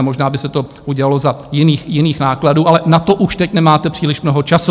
A možná by se to udělalo za jiných nákladů, ale na to už teď nemáte příliš mnoho času.